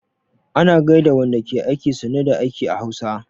Ana gaida wanda ke aiki 'sannu da aiki' a Hausa